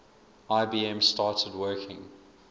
ibm started working